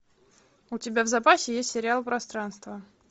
у тебя в запасе есть сериал пространство